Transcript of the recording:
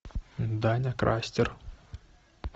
даня крастер